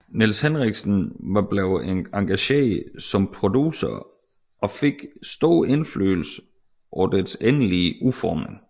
Nils Henriksen var blevet engageret som producer og fik stor indflydelse på dets endelige udformning